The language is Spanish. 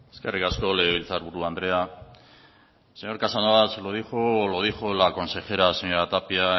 eskerrik asko legebiltzar buru andrea señor casanova se lo dijo la consejera señora tapia